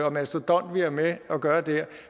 og mastodont vi har med at gøre der